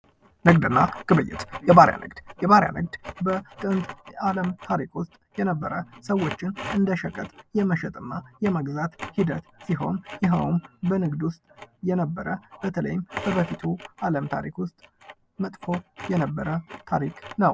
ንግድና ግብይት ፡-የባርያ ንግድ በጥንት ታሪክ ውስጥ የነበረ ሰዎችን እንደ ሸቀጥ የመሸጥና የመግዛት ሂደት ነው። ይህም በንግድ አለም ታሪክ ውስጥ መጥፎ የነበረ ታሪክ ነው ።